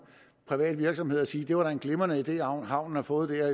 privat virksomhed og siger det var da en glimrende idé havnen har fået der